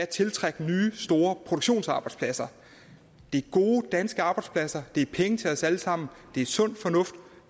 tiltrække nye store produktionsarbejdspladser det er gode danske arbejdspladser det er penge til os alle sammen det er sund fornuft